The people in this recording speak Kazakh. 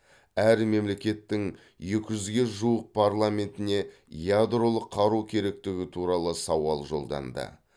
әр мемлекеттің екі жүзге жуық парламентіне ядролық қару керектігі туралы сауал жолданды